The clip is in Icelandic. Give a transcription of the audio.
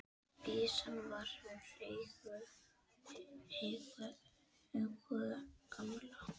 Byssan var úr eigu gamla